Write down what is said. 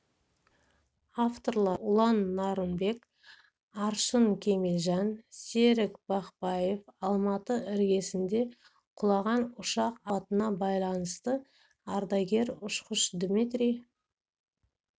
авторлары ұлан нарынбек аршын кемелжан серік бақбаев алматы іргесінде құлаған ұшақ апатына байланысты ардагер ұшқыш дмитрий